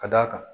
Ka d'a kan